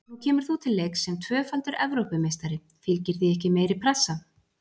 Nú kemur þú til leiks sem tvöfaldur Evrópumeistari, fylgir því ekki meiri pressa?